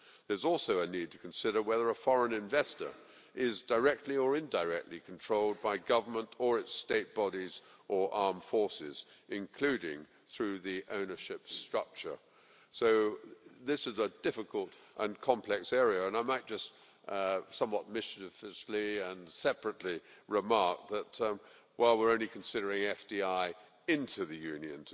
There is also a need to consider whether a foreign investor is directly or indirectly controlled by government or its state bodies or armed forces, including through the ownership structure. So this is a difficult and complex area and I might just somewhat mischievously and separately remark that while today we're considering only FDI into the Union,